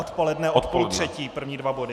Odpoledne od půl třetí první dva body.